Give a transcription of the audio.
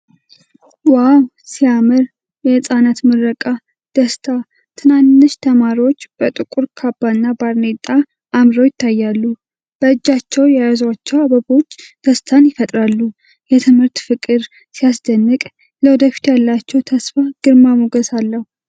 ዋው ሲያምር! የሕጻናት ምረቃ! ደስታ! ትናንሽ ተማሪዎች በጥቁር ካባና ባርኔጣ አምረው ይታያሉ። በእጃቸው የያዟቸው አበቦች ደስታን ይፈጥራሉ። የትምህርት ፍቅር! ሲያስደንቅ! ለወደፊቱ ያላቸው ተስፋ ግርማ ሞገስ አለው!